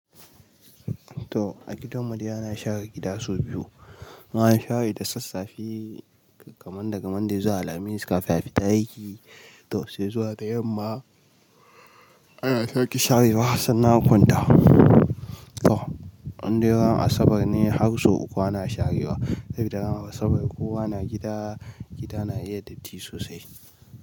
To a gidan mu dai ana share gida sau biyu. Muna share da sassafe kaman daga Monday zuwa Alhamis kafin a fita aiki. To sai zuwa da yamma ana sake sharewa sannan a kwanta. To an dai ga Asabar ne har sau uku ana sharewa saboda ranar Asabar kowa na gida, gida na iya datti sosai.